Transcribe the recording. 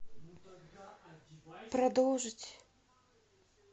продолжить